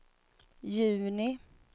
juni